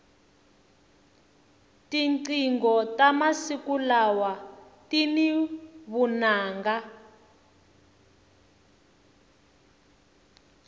tinqingho ta masiku lawa tini vunanga